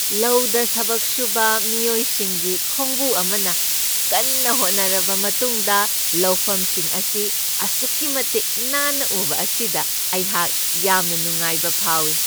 ꯂꯧꯗ ꯊꯕꯛ ꯁꯨꯕ ꯃꯤꯑꯣꯏꯁꯤꯡꯒꯤ ꯈꯣꯡꯕꯨ ꯑꯃꯅ ꯀꯟꯅ ꯍꯣꯠꯅꯔꯕ ꯃꯇꯨꯡꯗ ꯂꯧꯐꯝꯁꯤꯡ ꯑꯁꯤ ꯑꯁꯨꯛꯀꯤ ꯃꯇꯤꯛ ꯅꯥꯟꯅ ꯎꯕ ꯑꯁꯤꯗ ꯑꯩꯍꯥꯛ ꯌꯥꯝꯅ ꯅꯨꯡꯉꯥꯏꯕ ꯐꯥꯎꯢ꯫